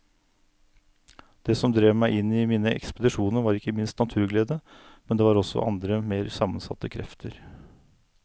Det som drev meg i mine ekspedisjoner var ikke minst naturglede, men det var også andre mer sammensatte krefter.